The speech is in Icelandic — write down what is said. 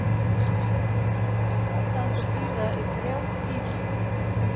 Lét aðdáendur bíða í þrjá tíma